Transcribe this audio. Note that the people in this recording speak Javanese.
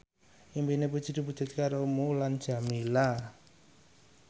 impine Puji diwujudke karo Mulan Jameela